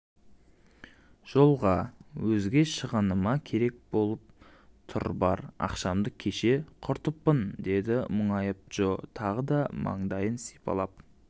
жолға өзге шығыныма керек болып тұрбар ақшамды кеше құртыппын деді мұңайып джо тағы да маңдайын сипалап